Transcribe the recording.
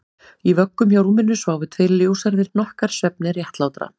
Í vöggum hjá rúminu sváfu tveir ljóshærðir hnokkar svefni réttlátra